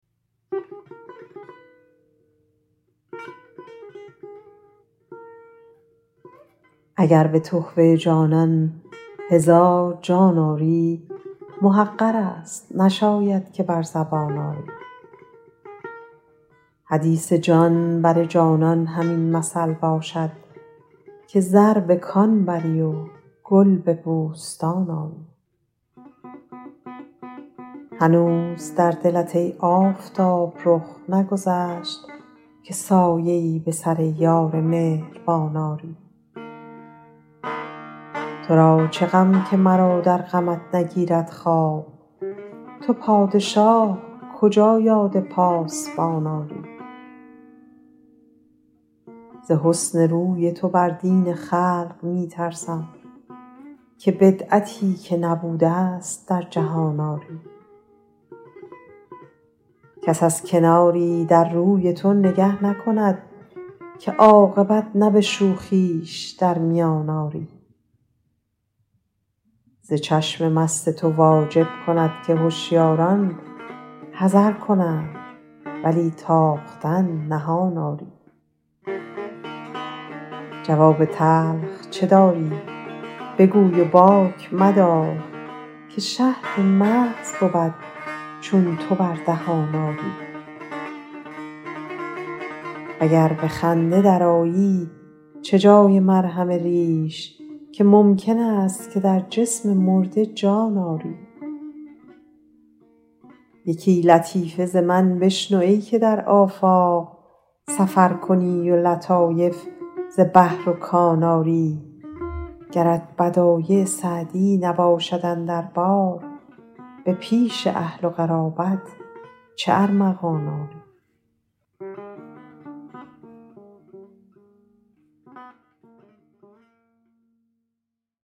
اگر به تحفه جانان هزار جان آری محقر است نشاید که بر زبان آری حدیث جان بر جانان همین مثل باشد که زر به کان بری و گل به بوستان آری هنوز در دلت ای آفتاب رخ نگذشت که سایه ای به سر یار مهربان آری تو را چه غم که مرا در غمت نگیرد خواب تو پادشاه کجا یاد پاسبان آری ز حسن روی تو بر دین خلق می ترسم که بدعتی که نبوده ست در جهان آری کس از کناری در روی تو نگه نکند که عاقبت نه به شوخیش در میان آری ز چشم مست تو واجب کند که هشیاران حذر کنند ولی تاختن نهان آری جواب تلخ چه داری بگوی و باک مدار که شهد محض بود چون تو بر دهان آری و گر به خنده درآیی چه جای مرهم ریش که ممکن است که در جسم مرده جان آری یکی لطیفه ز من بشنو ای که در آفاق سفر کنی و لطایف ز بحر و کان آری گرت بدایع سعدی نباشد اندر بار به پیش اهل و قرابت چه ارمغان آری